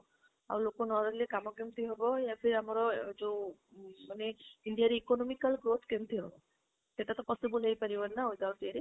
ଆଉ ଲୋକ ନରହିଲେ କାମ କେମିତି ହବ ଆମର ଯୋଉ ମାନେ ଇଣ୍ଡିଆରେ economical growth କେମିତି ହବ ସେଟା ତ possible ହେଇ ପାରିବନି ନା without ୟେ ରେ